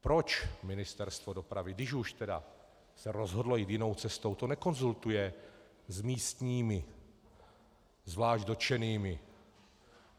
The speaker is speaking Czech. Proč Ministerstvo dopravy, když už tedy se rozhodlo jít jinou cestou, to nekonzultuje s místními, zvlášť dotčenými?